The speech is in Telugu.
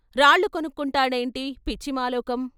రాళ్ళు కొనుక్కుంటాడేంటి పిచ్చి మాలోకం.